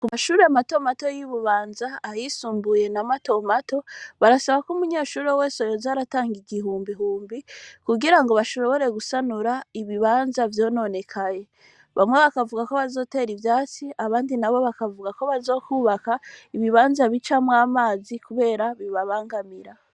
Ku bashure matomato y'ibubanza ahisumbuye na matomato barasaba ko umunyeshuri owese yoza aratanga igihumbihumbi kugira ngo bashobore gusanura ibibanja vyononekaye bamwe bakavuga ko bazotera ivyasi abandi na bo bakavuga ko bazokwubaka ibibanza b'icamwe amazi, kubera bibabangamira.